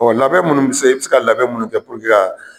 Ɔ labɛn munnu be se i bi se ka labɛn munnu kɛ puruke ka